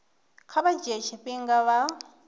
kha vha dzhie tshifhinga vha